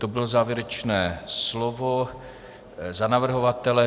To bylo závěrečné slovo za navrhovatele.